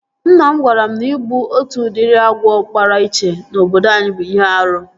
Nna m gwara m na igbu otu udiri agwọ gbara iche na obodo anyị bụ ihe árú